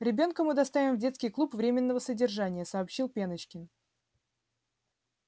ребёнка мы доставим в детский клуб временного содержания сообщил пеночкин